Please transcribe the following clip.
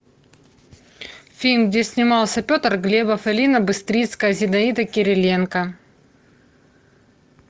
фильм где снимался петр глебов алина быстрицкая зинаида кириленко